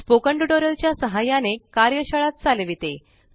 spoken tutorial च्या सहाय्याने कार्यशाळा चालविते